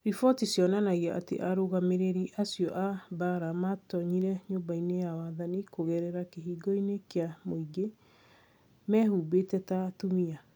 Riboti cionanagia atĩ arũgamĩrĩri acio a mbaara maatoonyire Nyũmba-inĩ ya Wathani kũgerera kĩhingo-inĩ kĩa mũingĩ, mehumbĩte ta atumia".